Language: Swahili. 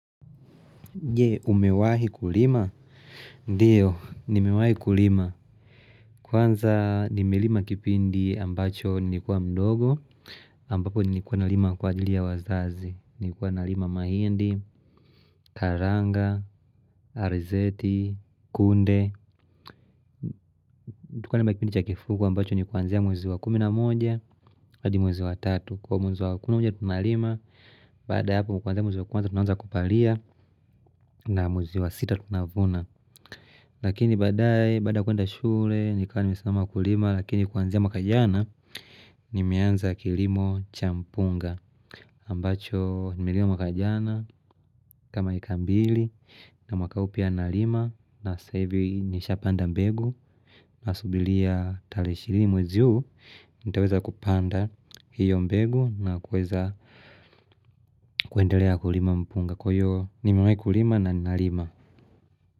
Je umewahi kulima? Ndiyo, nimewahi kulima. Kwanza nimelima kipindi ambacho nikuwa mdogo ambapo nikuwa nalima kwa ajili ya wazazi. Nikuwa nalima mahindi, karanga, arizeti, kunde. Kwanza nimelima kipindi cha kifugo ambacho nikuanzia mwezi wa kumi na moja adi mwezi wa tatu. Kwa mwezi wa kuminamonja tunalima Bada ya hapo kwanzia mwezi wa kwanza tunaanza kupalia na mwezi wa sita tunavuna Lakini badae baada ya kuenda shule nikawa nimesmama kulima lakini kuanzia maka jana nimeanza kilimo cha mpunga ambacho nimelima mwaka jana kama eka mbili na mwaka huu pia narima na ssaivi nisha panda mbegu Nasubilia tare ishirini mwezi u nitaweza kupanda hiyo mbegu na kuweza kuendelea kulima mpunga. Kwa iyo nimewai kulima na nnalima.